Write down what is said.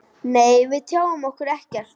Nei, við tjáum okkur ekkert.